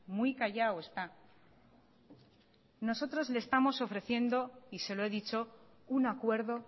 muy callado está nosotros le estamos ofreciendo y se lo he dicho un acuerdo